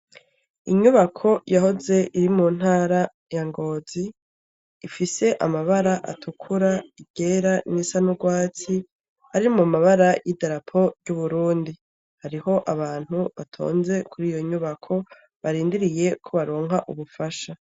Inyubako yahoze iri muntara ya ngozi, ifise amabara atukura, iryera n'irisa n'urwatsi, ari mu mabara y'idarapo ry'uburundi ,hariho abantu batonze kuriyo nyubako barindiriyeko baronka ubufasha.